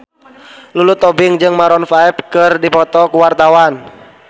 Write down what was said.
Lulu Tobing jeung Maroon 5 keur dipoto ku wartawan